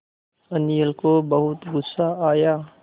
अनिल को बहुत गु़स्सा आया